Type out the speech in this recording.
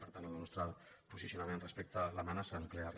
per tant el nostre posicionament respecte a l’amenaça nuclear